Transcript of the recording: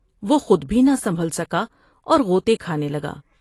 وہ خود بھی نہ مسجل سکا اور غوطے کھانے لگا ۔